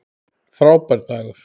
Frábær dagur.